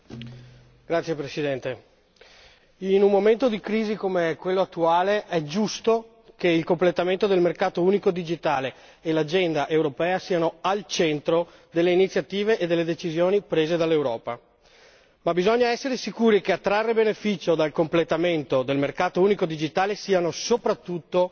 Signora Presidente, onorevoli colleghi, in un momento di crisi come quello attuale è giusto che il completamento del mercato unico digitale e l'agenda europea siano al centro delle iniziative e delle decisioni prese dall'Europa, ma bisogna essere sicuri che a trarre beneficio dal completamento del mercato unico digitale siano soprattutto